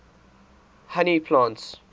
honey plants